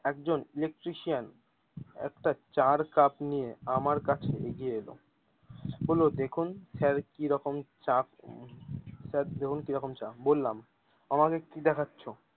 একজন electrician একটা চা এর কাপ নিয়ে আমার কাছে এগিয়ে এলো বললো দেখুন সার কিরকম চা স্যার দেখুন কি রকম চা বললাম আমাকে কি দেখাচ্ছ।